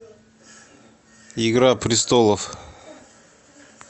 игра престолов